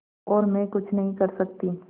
और मैं कुछ नहीं कर सकती